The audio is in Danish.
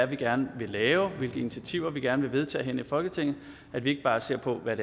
vi gerne vil lave hvilke initiativer vi gerne vil vedtage herinde i folketinget at vi ikke bare ser på hvad